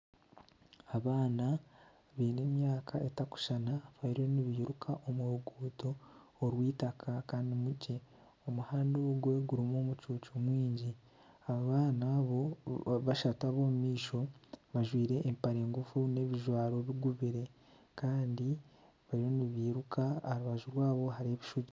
Abaana baine emyaka etakushushana bariyo nibairuka omu ruguuto orw'eitaka kandi rukye. Omuhanda ogwo gurimu omucuucu mwingi. Abaana abo bashatu ab'omu maisho bajwaire empare ngufu n'ebijwaro bigubire. Kandi bariyo nibairuka aha rubaju rwabo hariho ebishugi.